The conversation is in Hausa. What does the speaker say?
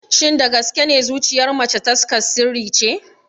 Shin da gaske ne zuciyar mace taskar sirri ce?